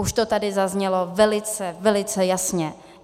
Už to tady zaznělo velice, velice jasně.